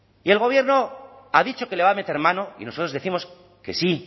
y el gobierno ha dicho que le va a meter mano y nosotros décimos que sí